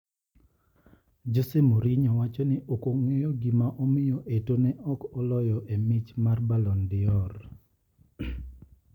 Jose Mourinho wacho ni okong`eyo gima omiyo Etoo ne ok oloyo e mich mar Ballon d'Or.